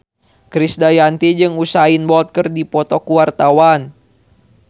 Krisdayanti jeung Usain Bolt keur dipoto ku wartawan